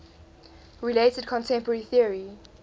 related contemporary theory